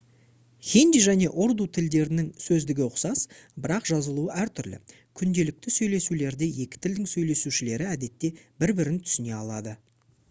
хинди және урду тілдерінің сөздігі ұқсас бірақ жазылуы әртүрлі күнделікті сөйлесулерде екі тілдің сөйлеушілері әдетте бір бірін түсіне алады